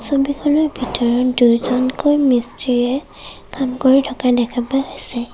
ছবিখনৰ ভিতৰত দুজনকৈ মিস্ত্ৰীয়ে কাম কৰি থকা দেখা পাইছে।